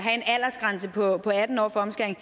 have på atten år for omskæring